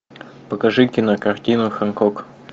покажи кинокартину хэнкок